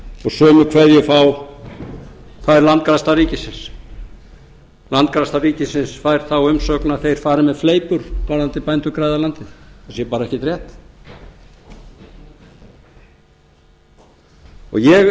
og sömu kveðju fær landgræðsla ríkisins landgræðsla ríkisins fær þá umsögn að þeir fari með fleipur varðandi bændur græða landið það sé bara ekkert rétt og ég